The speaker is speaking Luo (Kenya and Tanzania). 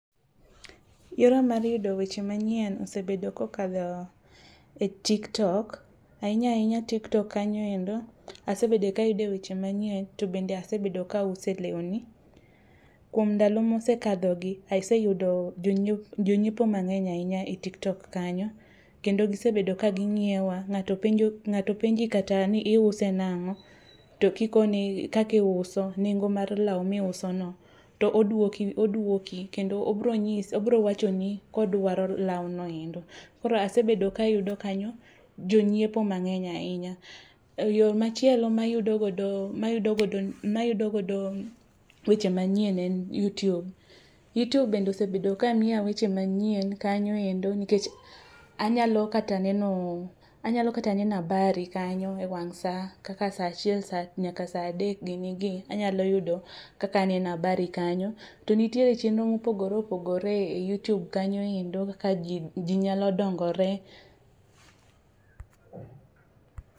Yora mar yudo weche manyien osebedo kokadho e tiktok. Ainya ainya tiktok kanyoendo asebedo kayude weche manyien tobende asebedo kaauso lewni. Kuom ndalo mosekadhogi aseyudo jonyiep jonyiepo mang'eny ahinya etiktok kanyo. Kendo gisebedo kaging'iewa.Ng'ato penjo ng'ato penji kata ni iuse nang'o to kikone kaka iuso nengo mar law miusono to oduoki oduoki kendo obro obro wachoni kodwaro lawno endo. Koro asebedo kayudo kanyo jonyiepoo mang'eny ainya. Yoo machielo mayudo godo mayudo godo mayudo godo weche manyien en youtube. Youtube bende osebedo kamiya weche manyien kanyoendo nikech anyalo kata nenoo anyalo kata neno abari kanyo ewang' saa kaka saa achiel sa nyaka saa adek ginigi. Anyalo yudo kaka aneno abari kanyo. To nietiere chenro mopogore opogore eyoutube kanyo endo akaji ji nyalo dongore.